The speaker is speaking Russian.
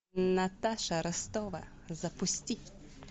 наташа ростова запусти